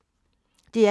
DR P2